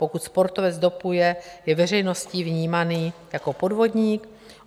Pokud sportovec dopuje, je veřejností vnímaný jako podvodník.